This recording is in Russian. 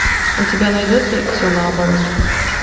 у тебя найдется все наоборот